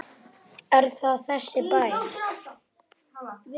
Er það þessi bær?